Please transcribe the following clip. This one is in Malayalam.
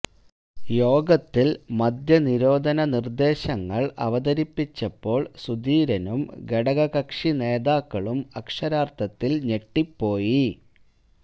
യോഗത്തിൽ മദ്യനിരോധന നിർദ്ദേശങ്ങൾ അവതരിപ്പിച്ചപ്പോൾ സുധീരനും ഘടകകക്ഷി നേതാക്കളും അക്ഷരാർത്ഥത്തിൽ ഞെട്ടിപ്പോയി